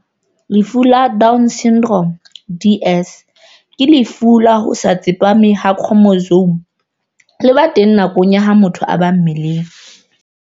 Lefu la Down Syndrome, DS, ke lefu la ho se tsepame ha khromosome le ba teng nakong ya ha motho a ba mmeleng.